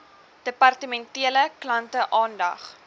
departementele klante aandag